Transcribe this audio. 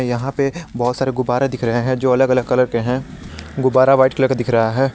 यहां पे बहुत सारे गुब्बारा दिख रहे हैं जो अलग अलग कलर के हैं गुब्बारा व्हाइट कलर दिख रहा है।